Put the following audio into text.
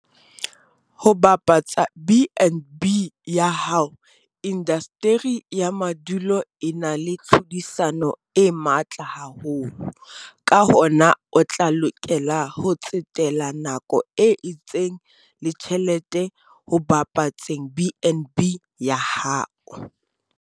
Ho bapatsa BnB ya hao - Indasteri ya madulo e na le tlhodisano e matla haholo, ka hona o tla lokela ho tsetela nako e itseng le tjhelete ho bapatseng BnB ya hao.